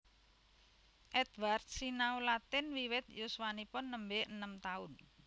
Edwards sinau Latin wiwit yuswanipun nembe enem taun